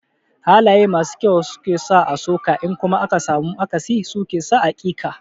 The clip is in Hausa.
Halaye masu kyau su ke sa a so ka in kuma aka samu akasi su ke sa a ƙi ka.